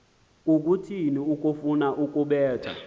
kukuthini ukufuna ukubetha